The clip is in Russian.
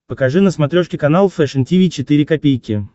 покажи на смотрешке канал фэшн ти ви четыре ка